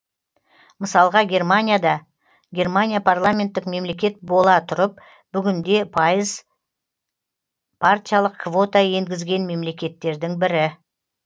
мысалға германияда германия парламенттік мемлекет бола тұрып бүгінде елу пайыз партиялық квота енгізген мемлекеттердің бірі